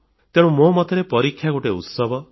ତେଣୁ ମୋ ମତରେ ପରୀକ୍ଷା ଗୋଟିଏ ଉତ୍ସବ